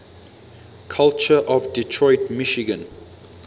culture of detroit michigan